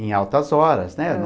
em altas horas, né?